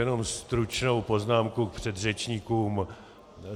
Jenom stručnou poznámku k předřečníkům.